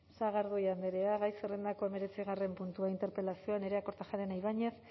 sagardui andrea gai zerrendako hemeretzigarren gaia interpelazioa nerea kortajarena ibañez